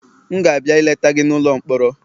M ga-abịa ileta gị n'ụlọ mkpọrọ